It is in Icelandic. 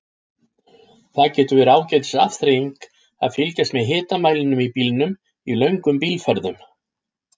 Það getur verið ágætis afþreying að fylgjast með hitamælinum í bílnum í löngum bílferðum.